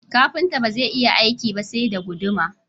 Kafinta bazai iya aiki ba sai da guduma